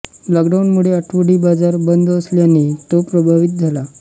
लॉकडाऊनमुळे आठवडी बाजार बंद असल्याने तो प्रभावित झाला आहे